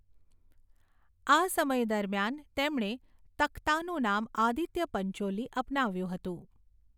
આ સમય દરમિયાન તેમણે તખ્તાનું નામ આદિત્ય પંચોલી અપનાવ્યું હતું.